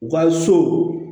U ka so